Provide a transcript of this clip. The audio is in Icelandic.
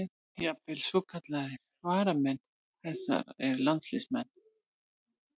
Jafnvel svokallaðir varamenn þeirra eru landsliðsmenn.